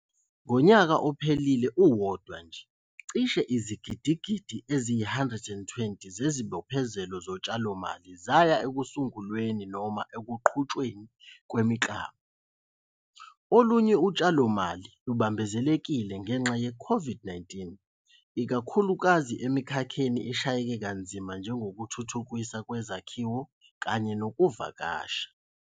Ngonyaka ophelile uwodwa nje, cishe izigidigidi eziyi-R120 zezibophezelo zotshalomali zaya ekusungulweni noma ekuqhutshweni kwemiklamo. Olunye utshalomali lubambezelekile ngenxa ye-COVID-19, ikakhulukazi emikhakheni eshayeke kanzima njengokuthuthukiswa kwezakhiwo kanye nezokuvakasha.